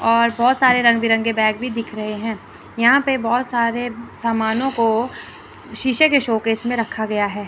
और बहुत सारे रंग बिरंगे बैग भी दिख रहे हैं यहां पे बहुत सारे समानों को शीशे के शोकेस में रखा गया है।